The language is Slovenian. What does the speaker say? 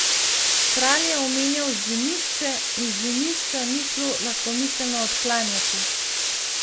Kralj je omenjal Zimišče in Zimišča ni šlo lahkomiselno odklanjati.